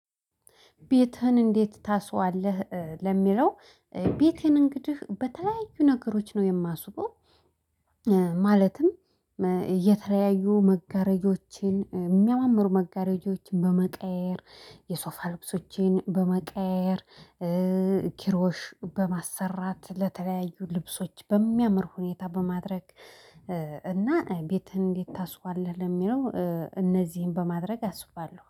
ቤትህን እንዴት ታስውዋለህ ለሚለው? ቤቴን እንግዲህ በተለያዩ ነገሮች ነው የማስውበው። ማለትም እየተለያዩ መጋረጃዎችን የሚያማምሩ መጋረጃዎችን በመቀያየር የሶፋ ልብሶቼን በመቀያየር ኪሮሽ በማሰራት ለተለያዩ ልብሶች በሚያምር ሁኔታ በማድረግ እና ቤትህን እንዴት ታስውባለህ ለሚለው? እነዚህን በማድረግ አስውባለሁ